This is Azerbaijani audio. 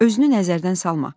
Özünü nəzərdən salma.